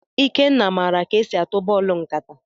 Ikenna maara ka e si atụ bọọlụ nkata.